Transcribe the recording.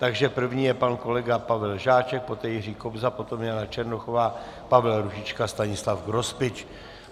Takže první je pan kolega Pavel Žáček, poté Jiří Kobza, potom Jana Černochová, Pavel Růžička, Stanislav Grospič.